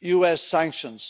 US sanctions?